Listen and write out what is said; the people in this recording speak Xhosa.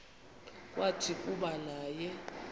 kwathi kuba naye